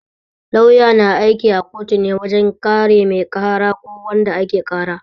Lauya na aiki a kotu ne wajen kare mai ƙara ko wanda ake ƙara